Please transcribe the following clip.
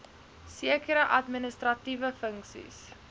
sekere administratiewe funksies